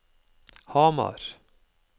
Hamar